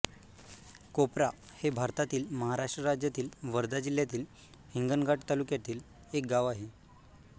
कोपरा हे भारतातील महाराष्ट्र राज्यातील वर्धा जिल्ह्यातील हिंगणघाट तालुक्यातील एक गाव आहे